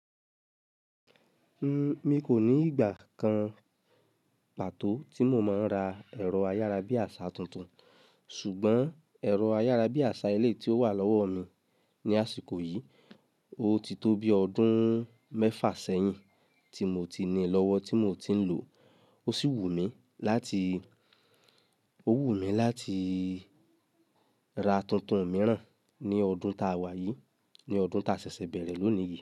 Mi kò ní ìgbà kan pàtó tí mo máa ń ra ẹ̀rọ ayára bí àṣà tuntun, ṣùgbọ́n ẹ̀rọ ayára bí àṣà èleyi tí ó wà lọ́wọ́ mi ní àsìkò yìí, ó ti tó bí ọdún mẹ́fà sẹ́yìn tí mo ti ní lọ́wọ́ tí mo ti ń lò ó. Ó sì wù mí, láti ra tuntun mìíràn ní ọdún ta wá yìí, ní ọdún ta ṣẹ̀ṣẹ̀ bẹ̀rẹ̀ lónìí yí.